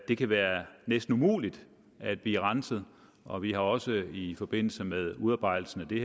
det kan være næsten umuligt at blive renset og vi har også i forbindelse med udarbejdelsen af det